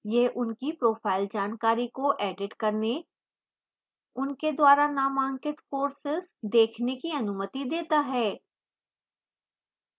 यह उनकी profile जानकारी को edit करने उनके द्वारा नामांकित courses देखने की अनुमति देता है